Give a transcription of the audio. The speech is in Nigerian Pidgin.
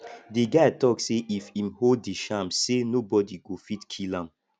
di guy tok sey if im hold di charm sey nobodi go fit kill am